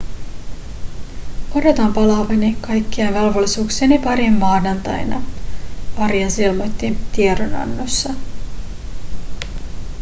odotan palaavani kaikkien velvollisuuksieni pariin maanantaina arias ilmoitti tiedonannossa